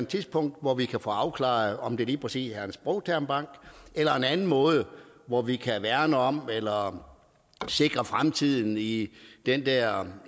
tidspunkt hvor vi kan få afklaret om det lige præcis er en sprogtermbank eller en anden måde hvor vi kan værne om eller sikre fremtiden i den der